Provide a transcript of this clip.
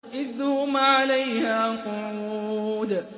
إِذْ هُمْ عَلَيْهَا قُعُودٌ